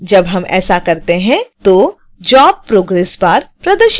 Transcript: जब हम ऐसा करते हैं तो job progress bar प्रदर्शित होता है